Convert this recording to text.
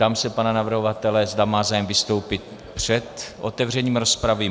Ptám se pana navrhovatele, zda má zájem vystoupit před otevřením rozpravy?